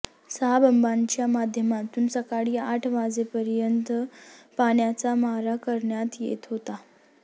सहा बंबांच्या माध्यमातून सकाळी आठ वाजेपर्यंत पाण्याचा मारा करण्यात येत होता